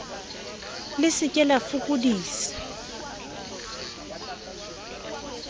le se ke la fokodisa